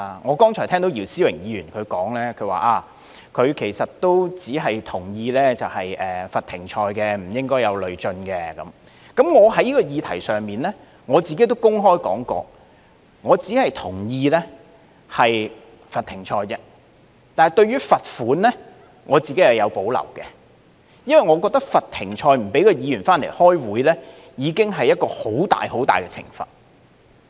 我剛才聽到姚思榮議員說，其實他只是同意罰停賽，而不應累進，在這個議題上，我亦曾公開表示，我只是同意罰停賽而已，但對於罰款，我個人是有保留的，因為我認為罰停賽，不讓議員回來開會，已經是一種很大的懲罰。